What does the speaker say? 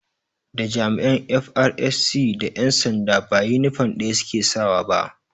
Da jami'an 'FRSC' da ƴan sanda ba inifom ɗaya su ke sawa ba